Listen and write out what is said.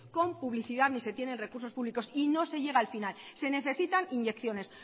con publicidad ni se tienen recursos públicos y no se llega al final se necesitan inyecciones